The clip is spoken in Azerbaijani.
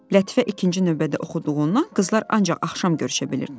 Lətifə ikinci növbədə oxuduğundan qızlar ancaq axşam görüşə bilirdilər.